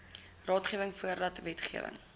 raadgewing voordat wetgewing